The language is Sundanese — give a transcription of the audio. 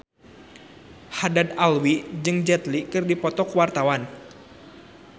Haddad Alwi jeung Jet Li keur dipoto ku wartawan